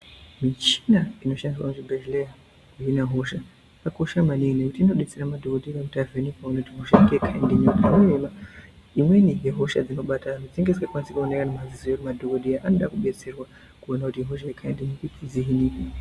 Michina inoshandiswa muchibhedhlera kuhina hosha yakakosha maningi ngekuti inodetsera madhogodheya kuti avheneke kuti aone kuti hosha ngeyekhaindinyi. Imweni yehosha dzinobata antu dzinenge dzisingakwanisi kuonekwa ngemaziso emadhogodheya, saka madhogodheya anoda kudetserwa kuona kuti ihosha yekhaindinyi kuitira kuidzirira.